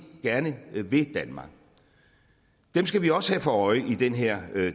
gerne vil danmark dem skal vi også have for øje i den her